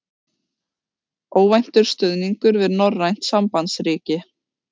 Óvæntur stuðningur við norrænt sambandsríki